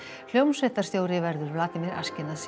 hljómsveitarstjóri verður Vladimir